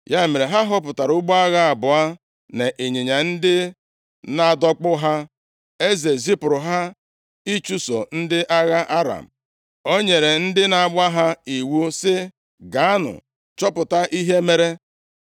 Ya mere, ha họpụtara ụgbọ agha abụọ na ịnyịnya ndị na-adọkpụ ha. Eze zipụrụ ha ịchụso ndị agha Aram, O nyere ndị na-agba ha iwu sị, “Gaanụ chọpụta ihe mere.”